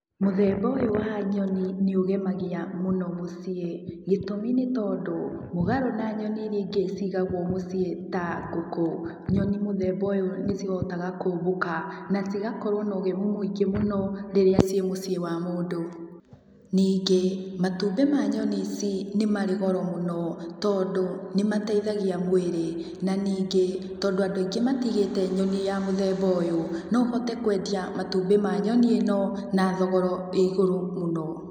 Mũthemba ũyũ wa nyoni nĩũgemagia mũno mũciĩ, gĩtũmi nĩ tondũ, mũgarũ na nyoni iria ingĩ cigagũo mũciĩ ta ngũkũ, nyoni muthemba ũyũ nĩcihotaga kũmbũka, na cigakorũo na ũgemu mũingĩ mũno, rĩrĩa ciĩ mũciĩ wa mũndũ. Ningĩ, matumbĩ ma nyoni ici, nĩ marĩ goro mũno, tondũ, nĩmateithagia mwĩrĩ. Na ningĩ tondũ andũ aingĩ matigĩte nyoni ya mũthemba ũyũ, no ũhote kũendia matumbi ma nyoni ĩno na thogora wĩ igũrũ mũno.